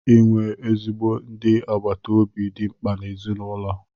Inwe ezigbo ndị agbata obi dị mkpa n' ezinụlọ